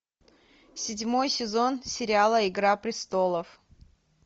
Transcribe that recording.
седьмой сезон сериала игра престолов